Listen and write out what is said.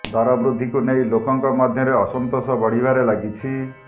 ଦର ବୃଦ୍ଧିକୁ ନେଇ ଲୋକଙ୍କ ମଧ୍ୟରେ ଅସନ୍ତୋଷ ବଢିବାରେ ଲାଗିଛି